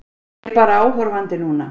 Ég er bara áhorfandi núna.